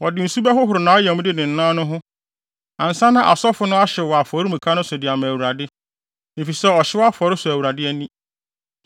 Wɔde nsu bɛhohoro nʼayamde ne ne nan no ho ansa na asɔfo no ahyew wɔ afɔremuka no so de ama Awurade; efisɛ ɔhyew afɔre sɔ Awurade ani.